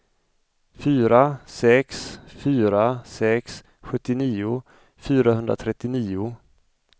fyra sex fyra sex sjuttionio fyrahundratrettionio